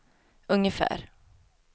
ungefär